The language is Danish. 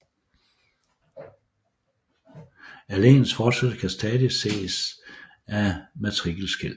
Alleens fortsættelse kan stadig ses af matrikelskel